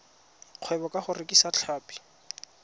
kgwebo ka go rekisa tlhapi